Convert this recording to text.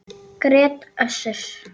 grét Össur.